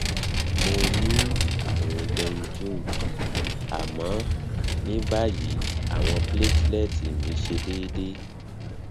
mo ni àrùn dengue àmọ ní báyìí awon platelets mi se deede